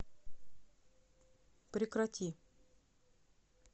прекрати